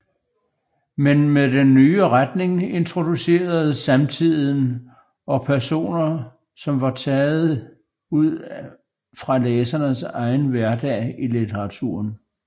Men med den nye retning introduceredes samtiden og personer som var taget ud fra læsernes egen hverdag i litteraturen